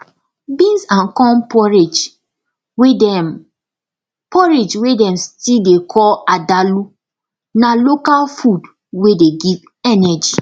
beans and corn porridge wey dem porridge wey dem still dey call adalu na local food wey dey give energy